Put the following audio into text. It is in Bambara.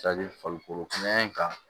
farikolo kɛnɛya in kan